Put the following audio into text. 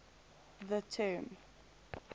the term